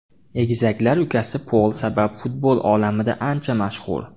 Egizaklar ukasi Pol sabab futbol olamida ancha mashhur.